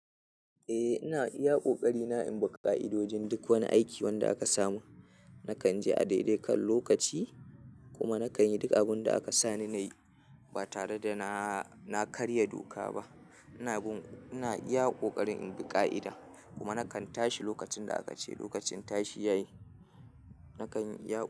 Eh ina iya kokari na in bi ka'idojin duk wani aiki wanda aka saman. Nakan je a daidai kan lokaci, kuma nakan yi duk abunda aka sani nayi ba tare da na karya doka ba ina bun, ina iya kokarin in bi ka'ida kuma nakan tashi lokacin da aka ce lokacin tashi yayi. Nakan iya.